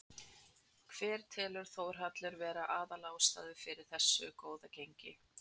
Hver telur Þórhallur vera aðal ástæðuna fyrir þessu góða gengi?